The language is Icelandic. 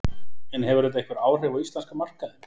En hefur þetta einhver áhrif á íslenska markaðinn?